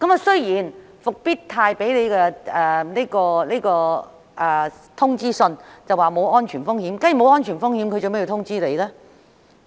雖然復星實業在通知信中表示沒有安全風險，但假如沒有安全風險，為何要發信通知呢？